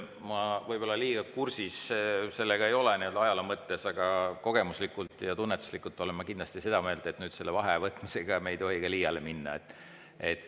Ma ei ole sellega võib-olla liiga kursis nii‑öelda ajaloo mõttes, aga kogemuslikult ja tunnetuslikult olen ma kindlasti seda meelt, et vaheaja võtmisega ei tohi me ka liiale minna.